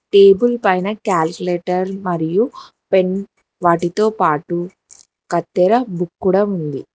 Table పైన calculator మరియు pen వాటితోపాటు కత్తెర కూడ ఉంది.